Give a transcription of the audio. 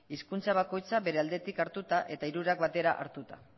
hizkuntza bakoitza bere aldetik hartuta eta hirurak batera hartuta